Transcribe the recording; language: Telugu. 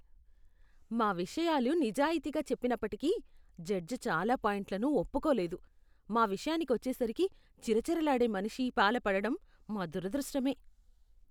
మా విషయాలు నిజాయితీగా చెప్పినప్పటికీ, జడ్జ్ చాలా పాయింట్లను ఒప్పుకోలేదు. మా విషయానికి వచ్చేసరికి చిరచిరలాడే మనిషి పాల పడడం మా దురదృష్టమే.